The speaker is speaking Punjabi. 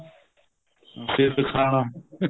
ਸਿਰ ਦਿਖਾਣਾ